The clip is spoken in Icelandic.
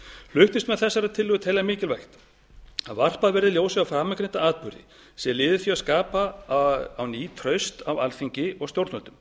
flutningsmenn þessarar tillögu telja mikilvægt að varpað verði ljósi á framangreinda atburði sem lið í því að skapa á ný traust á alþingi og stjórnvöldum